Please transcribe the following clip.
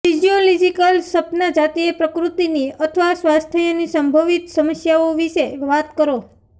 physiological સપના જાતીય પ્રકૃતિની અથવા સ્વાસ્થ્યની સંભવિત સમસ્યાઓ વિશે વાત કરો